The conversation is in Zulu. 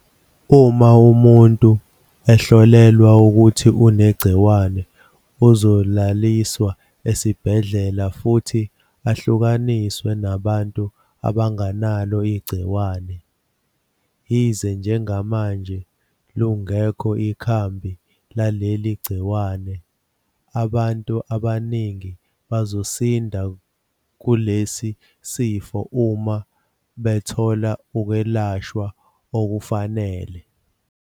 Uma umuntu ehlolelwa ukuthi unegciwane, uzolaliswa esibhedlela futhi ahlukaniswe nabantu abangenalo igciwane. Yize njengamanje lungekho ikhambi laleli gciwane, abantu abaningi bazosinda kulesi sifo uma bethola ukwelashwa okufanele.